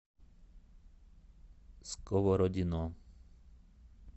сковородино